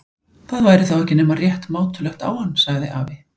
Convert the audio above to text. Það væri þá ekki nema rétt mátulegt á hann. sagði afi.